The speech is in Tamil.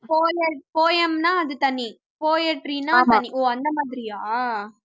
poet poem ன்னா அது தனி poetry ன்னா அது தனி ஓ அந்த மாதிரியா